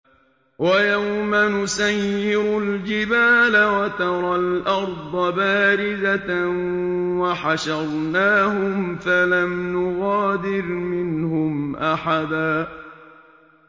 وَيَوْمَ نُسَيِّرُ الْجِبَالَ وَتَرَى الْأَرْضَ بَارِزَةً وَحَشَرْنَاهُمْ فَلَمْ نُغَادِرْ مِنْهُمْ أَحَدًا